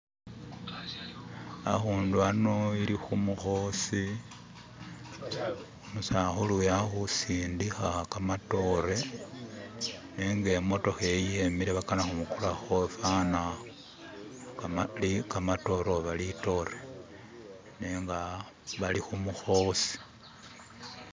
Hakundu hano ali kumukosi, umusakulu uyu akusindika kamatore nenga imotoka iyi yimile bakana kumugulako fana kamatore oba litore. Nenga bali kumukosi